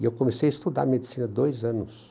E eu comecei a estudar medicina há dois anos.